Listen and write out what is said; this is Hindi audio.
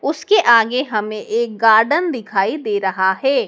उसके आगे हमें एक गार्डन दिखाई दे रहा है।